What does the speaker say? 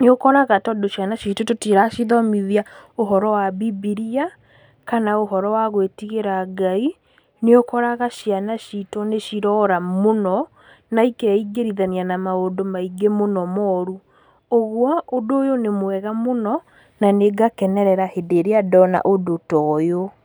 nĩũkoraga tondũ ciana ciitũ tũtiracithomithia ũhoro wa bibilia kana ũhoro wa gwĩtigĩra Ngai, nĩũkorga ciana ciitũ nĩcirora mũno na ikeingĩrithania na maũndũ maingĩ mũno mooru, ũgwo ũndũ ũyũ nĩ mwega mũno na nĩngakenerera hĩndĩ ĩrĩa ndona ũndũ toyũ.